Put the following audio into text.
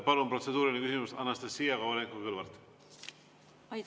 Palun, protseduuriline küsimus, Anastassia Kovalenko‑Kõlvart?